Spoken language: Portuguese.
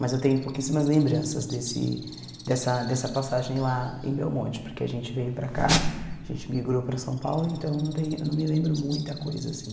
Mas eu tenho pouquíssimas lembranças desse dessa dessa passagem lá em Belmonte, porque a gente veio para cá, a gente migrou para São Paulo, então não tem não me lembro muita coisa, assim.